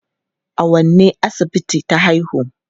A wanne asibiti ta haihu?